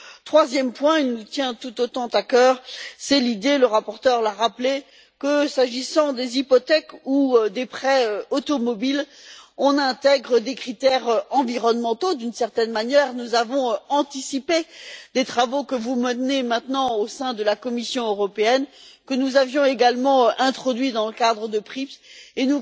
Troisième point, qui nous tient tout autant à cœur, c'est l'idée le rapporteur l'a rappelé que, s'agissant des hypothèques ou des prêts automobiles, on intègre des critères environnementaux d'une certaine manière, nous avons anticipé les travaux que vous menez maintenant au sein de la Commission européenne que nous avions également introduits dans le cadre des PRIIP, et